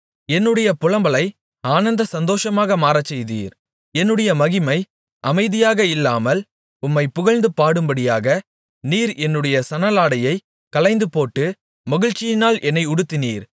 என்னுடைய புலம்பலை ஆனந்த சந்தோஷமாக மாறச்செய்தீர் என்னுடைய மகிமை அமைதியாக இல்லாமல் உம்மைப் புகழ்ந்து பாடும்படியாக நீர் என்னுடைய சணலாடையை களைந்துபோட்டு மகிழ்ச்சியினால் என்னை உடுத்தினீர்